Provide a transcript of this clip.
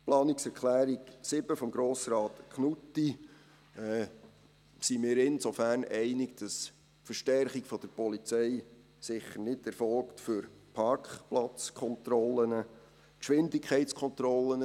Mit der Planungserklärung 7 von Grossrat Knutti sind wir insofern einig, als die Verstärkung der Polizei sicher nicht für Parkplatzkontrollen erfolgt.